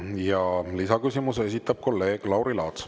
Ja lisaküsimuse esitab kolleeg Lauri Laats.